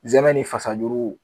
Zɛmɛn ni fasajuru.